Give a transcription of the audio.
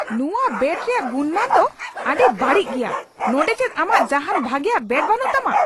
ᱱᱚᱶᱟ ᱵᱮᱴ ᱨᱮᱭᱟᱜ ᱜᱩᱱᱢᱟᱱ ᱫᱚ ᱟᱹᱰᱤ ᱵᱟᱹᱲᱤᱡ ᱜᱮᱭᱟ ᱾ ᱱᱚᱸᱰᱮ ᱪᱮᱫ ᱟᱢᱟᱜ ᱡᱟᱦᱟᱱ ᱵᱷᱟᱜᱮᱭᱟᱜ ᱵᱮᱴ ᱵᱟᱹᱱᱩᱜ ᱛᱟᱢᱟ ?